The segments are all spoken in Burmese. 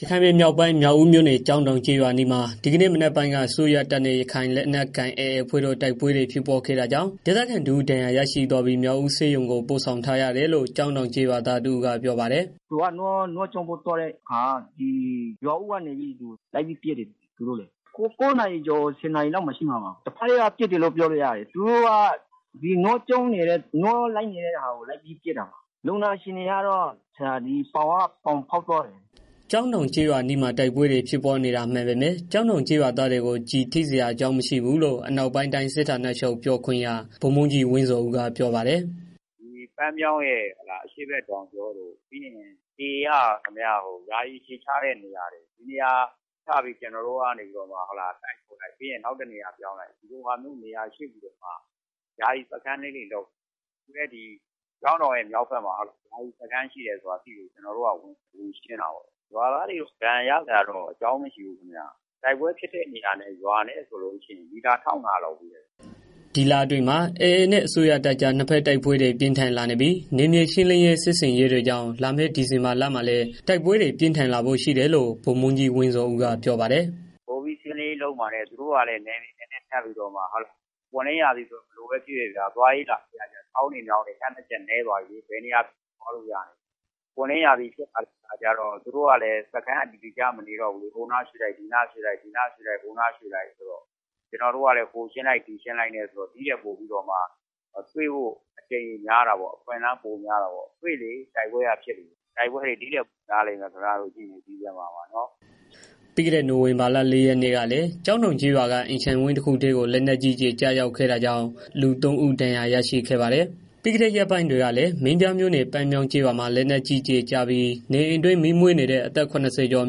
ရခိုင်ပြည်မြောက်ပိုင်း၊ မြောက်ဦးမြို့နယ် ကျောင်းတောင် ကျေးရွာအနီးမှာ ဒီကနေ့မနက်ပိုင်းက အစိုးရတပ်နဲ့ ရခိုင်လက်နက်ကိုင် AAအဖွဲ့တို့ တိုက်ပွဲဖြစ်ပွားခဲ့တာကြောင့် ဒေသခံတစ်ဦး ဒဏ်ရာရရှိသွားပြီး မြောက်ဦး ဆေးရုံ ကို ပို့ဆောင်ထားရတယ်လို့ ကျောင်းတောင် ကျေးရွာသားတစ်ဦးကပြောပါတယ်။ “သူက နွားကျောင်းဖို့ သွားတဲ့အခါ ရွာဦးကနေပြီးတော့ လိုက်ပြီးပစ်တယ်။ ၉နာရီကျော် ၁၀ နာရီ လောက်ဖြစ်မယ်။ တစ်ဘက်က ပစ်တယ်လို့ပြောလို့ရတယ် သူတို့က နွားကျောင်းနေတဲ့ ဟာကို လုပ်ပြီးတော့ ပစ်တာ လူနာအခြေအနေကတော့ ပေါင်ကိုဖောက်သွားတယ်။” ကျောင်းတောင် ကျေးအနီးမှာ တိုက်ပွဲဖြစ်ပွားနေတာမှန်ပေမယ့် ကျောင်းတောင်ကျေးရွာသားတွေကို ကျည်ထိစရာအကြောင်းမရှိဘူးလို့ အနောက်ပိုင်းတိုင်း စစ်ဌာချုပ် ပြောခွင့်ရ ဗိုလ်မှူးကြီး ဝင်းဇော်ဦး ကပြောပါတယ်။ “ပန်းမြောင်းရဲ့ အရှေ့တောင်ကြောတို့ ပြီးရင် AAက ယာယီအခြေချတဲ့နေရာတွေ ဒီနေရာတွေကို ကျနော်တို့က တိုက်လိုက် နောက်တစ်နေရာ ပြောင်းလိုက် နဲ့ ယာယီစခန်းတွေ လုပ်ထားတယ်။ အခုလည်း ကျောင်းတောင် ဘက်မှာ ယာယီစခန်းရှိတယ်ဆိုတာကို သိလို့ ကျနော်တို့က ဝင်ရှင်းတာပေါ့။ ရွာသားတွေ ဒဏ်ရာရစရာ အကြောင်းတော့ မရှိဘူးဗျာ။ တိုက်ပွဲဖြစ်တဲ့နေရာနဲ့ ရွာနဲ့ မီတာ ၁၅၀၀ လောက်ဝေးတယ်။” ဒီလအတွင်းမှာ AA နဲ့ အစိုးရတပ်အကြား နှစ်ဘက် တိုက်ပွဲတွေ ပြင်းထန်လာနေပြီး ၊ နယ်မြေရှင်းလင်းရေး စစ်ဆင်ရေးတွေကြောင့် လာမယ့် ဒီဇင်ဘာလမှာလည်း တိုက်ပွဲတွေ ပိုမိုပြင်းထန်လာဖို့ရှိတယ်လို့ ဗိုလ်မှူးကြီး ဝင်းဇော်ဦးက ပြောပါတယ်။ “ပိုပြီးတော့ ရှင်းလင်းရေးလုပ်မှာနဲ့ ပွင့်လင်းရာသီဆိုတော့ ဘယ်လိုပဲ ဖြစ်ဖြစ်ဗျာ သွားရေး လာရေးကလည်း ချောင်းတွေ မြောင်းတွေ ဖြတ်ရတာလည်း နည်းသွားပြီး ဘယ်နေရာဖြစ်ဖြစ် သွားလို့ရပြီ။ ပွင့်လင့်ရာသီဆိုတော့ သူတို့ကလည်း စခန်းအတည်တကျ မနေတော့ဘူးလေ။ ဟိုနားရွေ့လိုက် ဒီနားရွေ့လိုက် ဆိုတော့ ကျနော်တို့ကလည်း ဟိုနားရှင်းလိုက် ဒီနားရှင်းလိုက်နဲ့ ဆိုတော့ ဒီထက်ပိုပြီးတော့ တွေ့ဖို့အကြိမ်ရေ များတာပေါ့။ တွေ့လေ တိုက်ပွဲက ဖြစ်လေ။ တိုက်ပွဲတွေ ဒီထက်ပိုများလိမ့်မယ် ဒီဇင်ဘာမှာ ကြည့်နေ။” ပြီးခဲ့တဲ့ နိုင်ဝင်ဘာလ ၄ရက်နေ့ကလည်း ကျောင်းတောင်ကျေးရွာ အတွင်းက အိမ်ခြံဝင်းတစ်ခုအတွင်းကို လက်နက်ကြီး ကျရောက်ခဲ့တာကြောင့် လူသုံးဦး ဒဏ်ရာရရှိခဲ့ပါတယ်။ ပြီးခဲ့တဲ့ ရက်ပိုင်းတွေကလည်း မင်းပြားမြို့နယ်၊ ပန်းမြောင်းကျေးရွာမှာ လက်နက်ကြီးကျည်ကျပြီး နေအိမ်အတွင်း မီးမွေးနေတဲ့ အသက် ၇၀ကျော် အ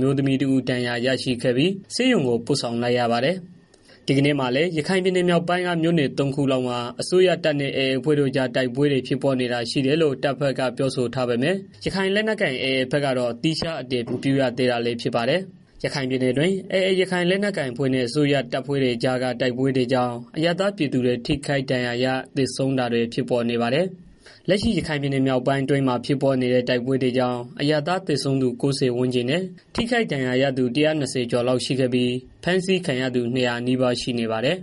မျိုးသမီးတစ်ဦး ဒဏ်ရာရရှိခဲ့ပြီ ဆေးရုံကို ပို့ဆောင်လိုက် ရပါတယ်။ ဒီကနေ့မှာလည်း ရခိုင်ပြည်နယ်မြောက်ပိုင်းက မြို့နယ် ၃ခုလောက်မှာ အစိုးရတပ်နဲ့ AAအဖွဲ့တို့ တိုက်ပွဲ ဖြစ်ပွားနေတာတွေ ရှိတယ်လို့ တပ်မတော်ဖက်ကပြောဆိုထားပေမယ့် ရခိုင်လက်နက်ကိုင် AAဖက်ကတော့ သီခြားအတည်ပြု မရသေးတာလည်း ဖြစ်ပါတယ်။ ရခိုင်ပြည်နယ်အတွင်း AA ရခိုင်လက်နက်ကိုင်အဖွဲ့နဲ့ အစိုးရတပ်ဖွဲ့တွေအကြားက တိုက်ပွဲတွေကြောင့် အရပ်သားပြည်သူတွေ ထိခိုက်ဒဏ်ရာရ၊ သေဆုံးတာတွေ ဖြစ်ပေါ်နေပါတယ်။ လက်ရှိ ရခိုင်ပြည်မြောက်ပိုင်း အတွင်းမှာ ဖြစ်ပွားနေတဲ့ တိုက်ပွဲတွေကြောင့် အရပ်သားသေဆုံးသူ ၉၀ ဝန်းကျင်နဲ့ ထိခိုက် ဒဏ်ရာရသူ ၁၂၀ ကျော်လောက် ရှိခဲ့ပြီး ဖမ်းဆီးခံရသူ ၂၀၀ နီးပါး ရှိနေပါတယ်။